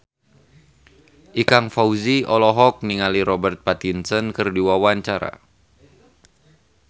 Ikang Fawzi olohok ningali Robert Pattinson keur diwawancara